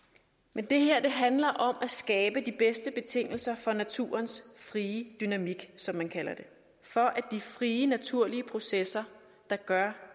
men det her handler om at skabe de bedste betingelser for naturens frie dynamik som man kalder det for at de frie naturlige processer der gør